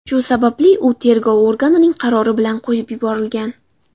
Shu sababli u tergov organining qarori bilan qo‘yib yuborilgan.